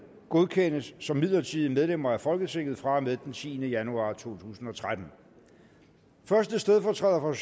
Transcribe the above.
godkendes som midlertidige medlemmer af folketinget fra og med den tiende januar 2013 første stedfortræder for